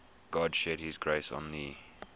god shed his grace on thee